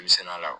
sɛnɛ la